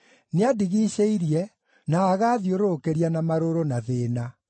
Nĩandigiicĩirie, na agaathiũrũrũkĩria na marũrũ, na thĩĩna.